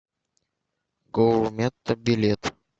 гурметто билет